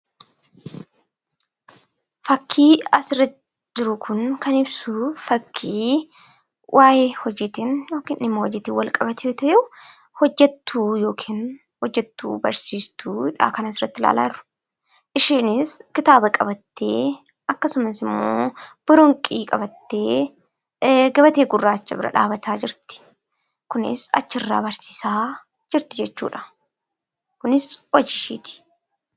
Fakkiin asirra jiru kun kan ibsu, fakkii waayee hojiitiin wal qabate yoo ta'u, hojjattuu yookiin barsiiftuudha kan asirratti ilaalaa jirru. Isheenis kitaaba qabattee akkasumas immoo boronqii qabattee gabatee gurraacha bira dhaabbachaa jirti. Kunis achirraa barsiisaa jirti jechuudha. Kunis hojii isheeti.